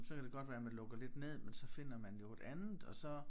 Så kan det godt være man lukker lidt ned men så finder man jo et andet og så